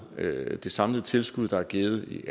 at det samlede tilskud der er givet i